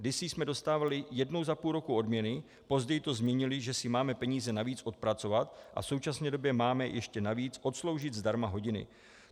Kdysi jsme dostávali jednou za půl roku odměny, později to změnili, že si máme peníze navíc odpracovat, a v současné době máme ještě navíc odsloužit zdarma hodiny.